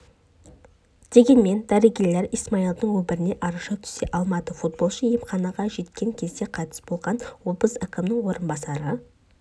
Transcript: дегенмен дәрігерлер исмаилдың өміріне араша түсе алмады футболшы емханаға жеткен кезде қайтыс болған облыс әкімінің орынбасары